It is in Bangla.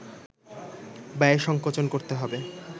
ব্যয় সংকোচন করতে হবে